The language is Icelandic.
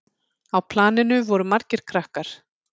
Á planinu voru margir krakkar.